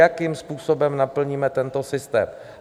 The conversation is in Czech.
Jakým způsobem naplníme tento systém.